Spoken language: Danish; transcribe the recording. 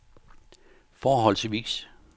forholdsvis